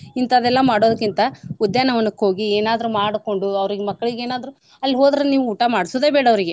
ಇಂತಾವೆಲ್ಲ ಮಾಡೋದ್ಕಿಂತಾ ಉದ್ಯಾನ ವನಕ್ ಹೋಗಿ ಏನಾದ್ರೂ ಮಾಡ್ಕೊಂಡು ಅವ್ರೀಗ್ ಮಕ್ಳಿಗ್ ಏನಾದ್ರೂ ಅಲ್ಲಿಗ್ ಹೋದ್ರ ನೀವು ಊಟ ಮಾಡ್ಸುದ ಬ್ಯಾಡ ಅವ್ರಗೆ.